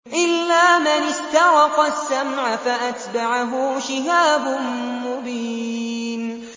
إِلَّا مَنِ اسْتَرَقَ السَّمْعَ فَأَتْبَعَهُ شِهَابٌ مُّبِينٌ